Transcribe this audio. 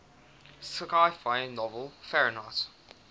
sci fi novel fahrenheit